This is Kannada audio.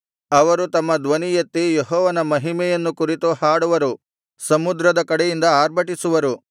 ಅವರು ತಮ್ಮ ಧ್ವನಿ ಎತ್ತಿ ಯೆಹೋವನ ಮಹಿಮೆಯನ್ನು ಕುರಿತು ಹಾಡುವರು ಸಮುದ್ರದ ಕಡೆಯಿಂದ ಆರ್ಭಟಿಸುವರು